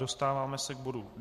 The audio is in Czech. Dostáváme se k bodu